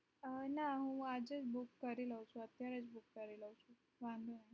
અ નાં હું આજે જ book કરી લઉં છુ અત્યારે જ book કરી લઉં છુ